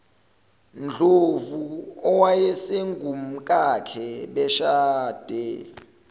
ndlovu owayesengumkakhe beshade